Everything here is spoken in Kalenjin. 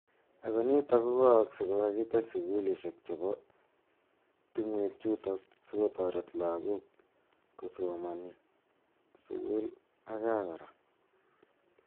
Ako nitok kwa aksei ye kakitech sukulishe che bo tungwek chutok siko taret lokok kosomaning sukul ak kaa kora.